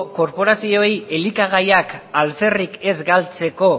korporazioei elikagaiak alferrik ez galtzeko